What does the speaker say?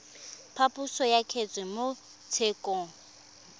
phaposo ya kgetse mo tshekong